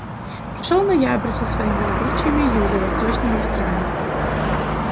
пришёл ноябрь со своими жгучими юго-восточными ветрами